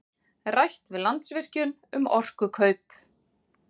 Rætt við Landsvirkjun um orkukaup